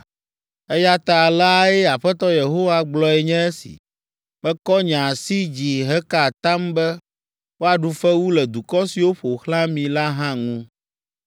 Eya ta aleae Aƒetɔ Yehowa gblɔe nye si. Mekɔ nye asi dzi heka atam be woaɖu fewu le dukɔ siwo ƒo xlã mi la hã ŋu.” ’